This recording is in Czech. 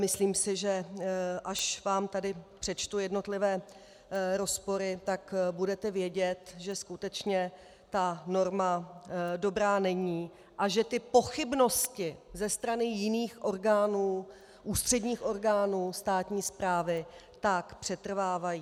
Myslím si, že až vám tady přečtu jednotlivé rozpory, tak budete vědět, že skutečně ta norma dobrá není a že ty pochybnosti ze strany jiných orgánů, ústředních orgánů státní správy, tak přetrvávají.